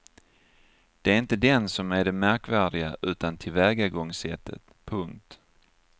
Det är inte den som är det märkvärdiga utan tillvägagångssättet. punkt